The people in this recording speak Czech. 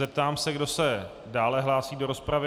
Zeptám se, kdo se dále hlásí do rozpravy.